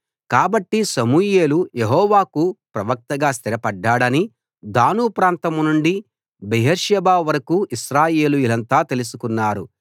కాబట్టి సమూయేలు యెహోవాకు ప్రవక్తగా స్థిరపడ్డాడని దాను ప్రాంతం నుండి బెయేర్షెబా వరకూ ఇశ్రాయేలీయులంతా తెలుసుకున్నారు